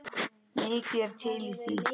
Mikið er til í því.